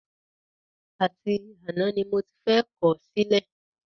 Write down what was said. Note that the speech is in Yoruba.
Àti àná ni mo ti fẹ́ kọ̀ ọ́ sílẹ̀